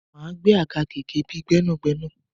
Máa gbẹ́ àga gẹ́gẹ́ bíi Gbẹ́nàgbẹ́nà.